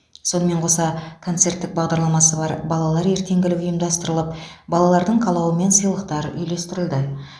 сонымен қоса концерттік бағдарламасы бар балалар ертеңгілік ұйымдастырылып балалардың қалауымен сыйлықтар үйлестірілді